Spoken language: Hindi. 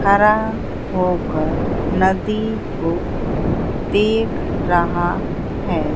खड़ा होकर नदी को देख रहा है।